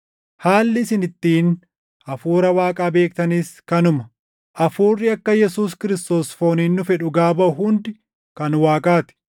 Haalli isin ittiin Hafuura Waaqaa beektanis kanuma: Hafuurri akka Yesuus Kiristoos fooniin dhufe dhugaa baʼu hundi kan Waaqaa ti;